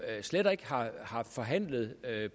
slet ikke har forhandlet